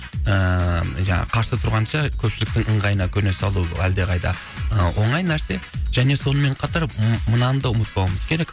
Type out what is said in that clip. ыыы жаңағы қарсы тұрғанша көпшіліктің ыңғайына көне салу әлдеқайда ы оңай нәрсе және сонымен қатар м мынаны да ұмытпауымыз керек